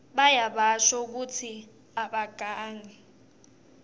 bayabasho kutsi abagangi